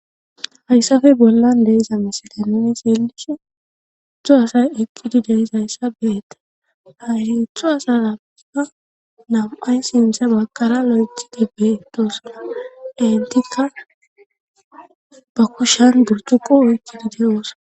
hayssafe bollan deiza misilay nuni seelishe utto asay eqqidi deiza hayssa beetta haerintho hasarappa nam7ay sintha bakara lojjidi beetosuna intikka ba kushan gurtuqo oykkidi deyoosa